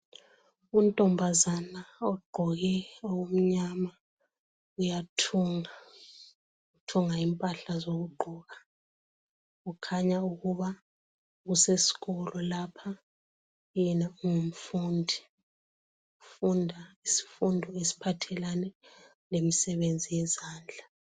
Untombazane ogqoke okumnyama uyathunga , uthunga impahla zokugqoka , kukhanya ukuba useskolo lapha yena ungumfundi , ufunda isifundo esiphathelane lemsebenzi yezandla